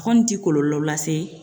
A kɔni tɛ kɔlɔlɔ lase